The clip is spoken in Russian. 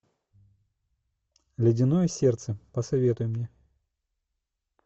ледяное сердце посоветуй мне